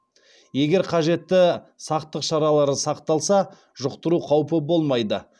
егер қажетті сақтық шаралары сақталса жұқтыру қаупі болмайды